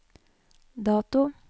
dato